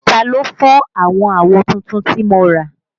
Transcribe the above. Ta ló fọ́ àwọn àwo tuntun tí mo rà?